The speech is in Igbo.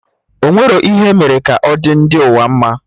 Ọ enwerọ ihe emere ka ọ dị ndị ụwa mma